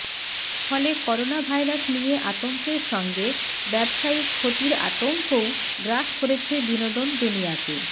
ফলে corona virus নিয়ে আতঙ্কের সঙ্গে ব্যবসায়িক ক্ষতির আতঙ্কও গ্রাস করেছে বিনোদন দুনিয়াকে